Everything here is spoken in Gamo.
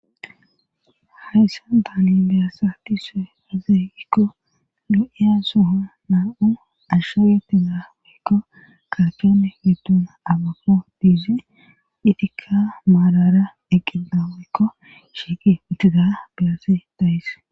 Hayssa daani biyassa ti see hazeegikko lu'iya soho naa'u ashshawetina woykko kaachane widuna abako diizi itika maalara eqqenna woykko shiiqi uttida biyasi dayis.